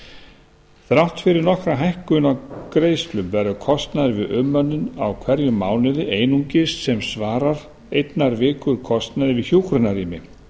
þeirra þrátt fyrir nokkra hækkun á greiðslum verður kostnaður við umönnun á hverjum mánuði einungis sem svarar einnar viku kostnaði við hjúkrunarrými